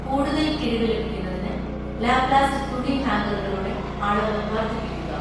കൂടുതൽ കിഴിവ് ലഭിക്കുന്നതിന് ലാപ്ലാസ്റ്റ് തുണി ഹാംഗറുകളുടെ അളവ് വർദ്ധിപ്പിക്കുക